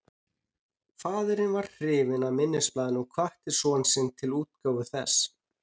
Faðirinn varð hrifinn af minnisblaðinu og hvatti son sinn til útgáfu þess.